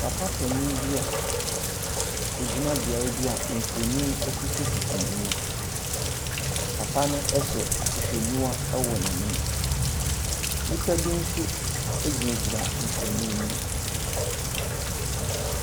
Papa panin bi a ɔgyina beaeɛ bi a mfonin sisisisi n'anim. Papa no hyɛ ahwehwɛniwa wɔ n'anim. Nnipa bi nso gynagyina mfonin no mu.